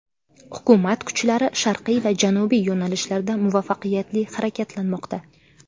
Hukumat kuchlari sharqiy va janubiy yo‘nalishlarda muvaffaqiyatli harakatlanmoqda.